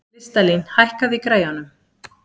Listalín, hækkaðu í græjunum.